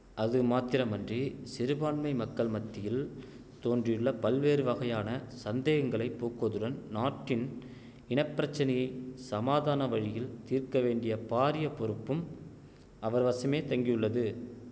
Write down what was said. அது மாத்திரமன்றி சிறுபான்மை மக்கள் மத்தியில் தோன்றியுள்ள பல்வேறு வகையான சந்தேகங்களை போக்குவதுடன் நாட்டின் இன பிரச்சனையை சமாதான வழியில் தீர்க்க வேண்டிய பாரிய பொறுப்பும் அவர்வசமே தங்கியுள்ளது